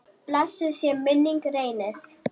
Blessuð sé minning Reynis.